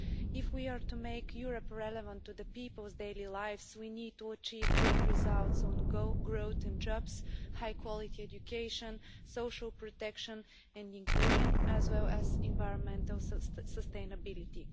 If we are to make Europe relevant to peoples' daily lives, we need to achieve good results on growth and jobs, high quality education, social protection and inclusion, as well as environmental sustainability.